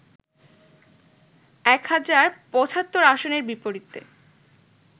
এক হাজার ৭৫ আসনের বিপরীতে